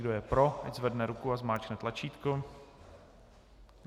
Kdo je pro, ať zvedne ruku a zmáčkne tlačítko.